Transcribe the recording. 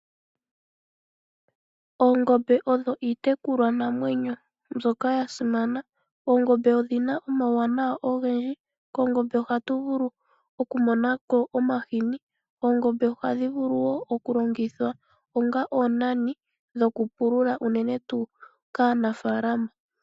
Oongombe odho iitekulwa namwenyo mbyoka yasimana. Oongombe odhina omauwanawa ogendji kongombe ohatu vulu oku monako omahini. Oongombe ohadhi vulu woo okulongithwa onga oonani dhoku pulula uunene tuu kaanafalama.